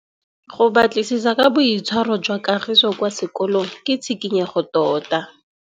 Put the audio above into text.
Go batlisisa ka boitshwaro jwa Kagiso kwa sekolong ke tshikinyêgô tota.